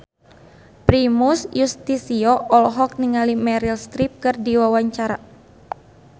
Primus Yustisio olohok ningali Meryl Streep keur diwawancara